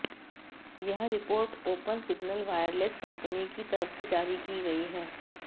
यह report open signal wireless company की तरफ से जारी की गई है